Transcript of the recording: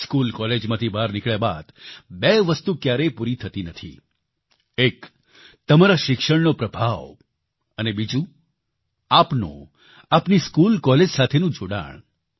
school કોલેજમાંથી બહાર નીકળ્યા બાદ બે વસ્તુ ક્યારેય પૂરી થતી નથી એક તમારા શિક્ષણનો પ્રભાવ અને બીજું આપનું આપની સ્કૂલ કોલેજ સાથેનું જોડાણ